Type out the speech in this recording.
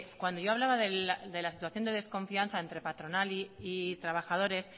cuando yo hablaba de la situación de desconfianza entre patronal y trabajadores